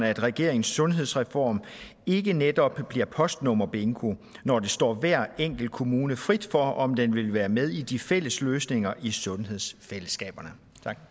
at regeringens sundhedsreform ikke netop bliver postnummerbingo når det står hver enkelt kommune frit for om den vil være med i de fælles løsninger i sundhedsfællesskaber